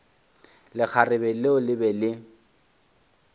lekgarebe leo le be le